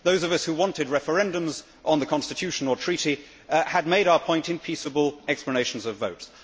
Those of us who wanted referendums on the Constitutional Treaty had made our point in peaceable explanations of vote.